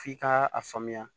F'i ka a faamuya